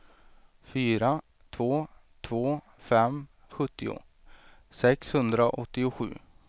fyra två två fem sjuttio sexhundraåttiosju